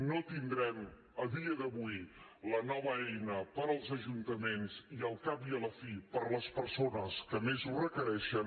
no tindrem a dia d’avui la nova eina per als ajuntaments i al cap i a la fi per a les persones que més ho requereixen